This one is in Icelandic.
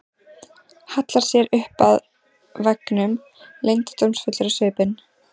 Hallar sér upp að veggnum, leyndardómsfull á svipinn.